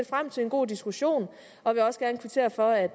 frem til en god diskussion og vil også gerne kvittere for at